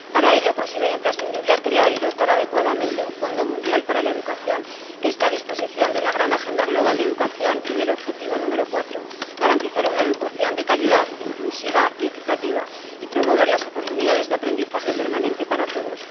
Para ello, considero imprescindible crear y dotar adecuadamente un Fondo Mundial para la Educación, que esté a disposición de una gran agenda global de educación y del objetivo número cuatro garantizar una educación de calidad inclusiva y equitativa, y promover las oportunidades de aprendizaje permanente para todos.